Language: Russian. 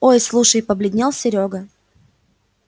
ой слушай побледнел серёга